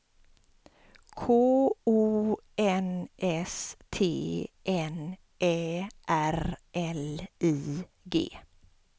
K O N S T N Ä R L I G